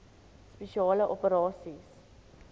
spesiale operasies dso